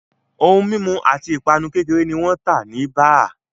Ohun mimu ati ipanu kekere ni wan ta ni baa